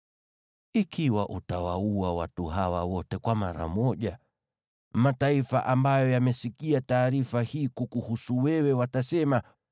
Ikiwa utawaua watu hawa wote mara moja, mataifa ambayo yamesikia taarifa hii kukuhusu wewe watasema,